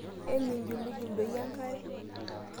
Eminjulujul doi enkare?